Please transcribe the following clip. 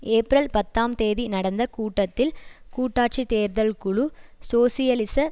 April பத்தாம் தேதி நடந்த கூட்டத்தில் கூட்டாட்சிச் தேர்தல் குழு சோசியலிச